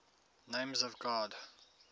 names of god